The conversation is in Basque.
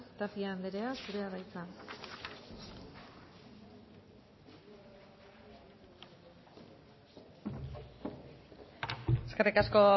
tapia anderea zurea da hitza eskerrik asko